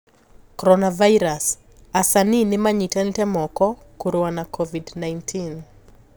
Coronavirus: Asanii nimanyitanite moko kurua na Covid-19.